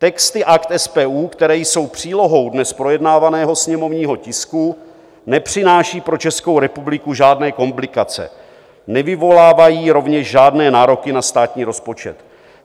Texty Akt SPU, které jsou přílohou dnes projednávaného sněmovního tisku, nepřináší pro Českou republiku žádné komplikace, nevyvolávají rovněž žádné nároky na státní rozpočet.